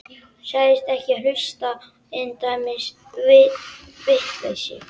Sagðist ekki hlusta á svona endemis vitleysu.